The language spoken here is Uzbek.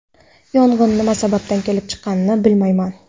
Yong‘in nima sababdan kelib chiqqanini bilmayman.